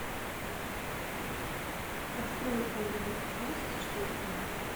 открой оливер твист четыре ка